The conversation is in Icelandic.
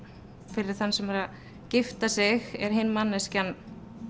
fyrir þann sem er að gifta sig er hin manneskjan